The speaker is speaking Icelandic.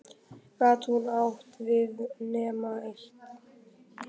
Gat hún átt við nema eitt?